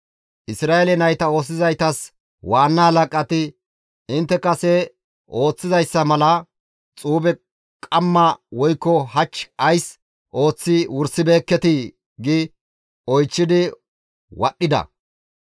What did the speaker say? Isra7eele nayta oosisizaytas waanna halaqati, «Intte kase ooththizayssa mala xuube qamma woykko hach ays ooththi wursibeekketii?» gi oychchidi wadhdhida